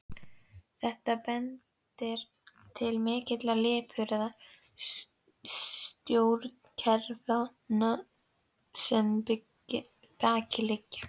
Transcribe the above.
Þetta bendir til mikillar lipurðar stjórnkerfanna sem að baki liggja.